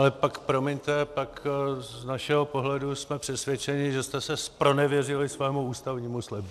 Ale pak promiňte, pak z našeho pohledu jsme přesvědčeni, že jste se zpronevěřili svému ústavnímu slibu.